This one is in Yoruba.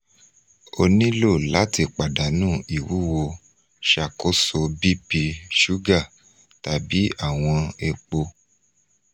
o nilo lati padanu iwuwo ṣakoso bp suga tabi awọn epo